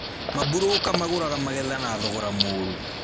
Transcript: Maburũka magũraga magetha na thogora mũrũ